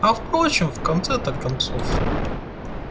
а впрочем в конце-то концов